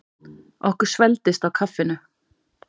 Okkur svelgdist á kaffinu.